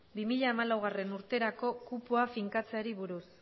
bi mila hamalaugarrena urterako kupoa finkatzeari buruz